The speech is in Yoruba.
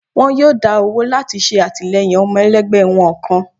wọn yóò dá owó lati ṣe atilẹyin ọmọ elẹgbẹ wọn kán